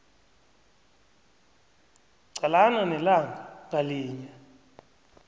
qalana nelanga ngalinye